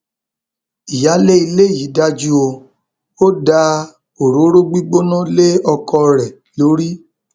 ìyáálé ilé yìí dájú o ò da òróró gbígbóná lé ọkọ rẹ lórí